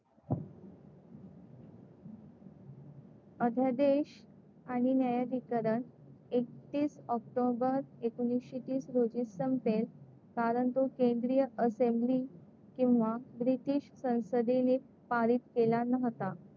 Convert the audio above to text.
अध्यादेश आणि न्यायाधिकरण एकतीस ऑक्टोबर एकोणीसशे तीस रोजी संपेल कारण तो केंद्रीय असेम्ब्ली किंवा ब्रिटीश संसदेने पारित केला नव्हता.